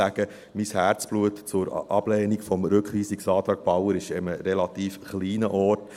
Mein Herzblut zur Ablehnung des Rückweisungsantrags Bauer ist an einem relativ kleinen Ort.